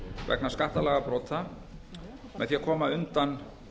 vegna skattalagabrota með því að koma undan